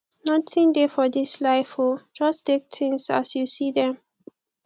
nothing dey for dis life oo just take things as you see dem